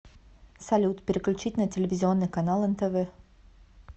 салют переключить на телевизионный канал нтв